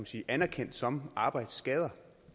sige anerkendt som arbejdsskader